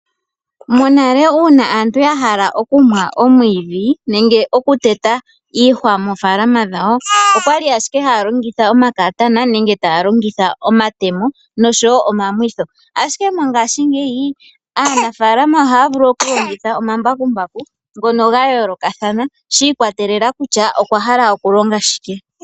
Monale ngele aantu yahala okumwa omwiidhi nenge yahala okuteta iihwa moofaalama dhawo okwali owala haalongitha omakaatana nenge taalongitha omatemo noshowo omamwitho, ashike mongashingeyi aanafaalama ohaavulu okulongitha omambakumbaku ngono gayooloka thana shiikwatelela kutya okwahala okulonga shike.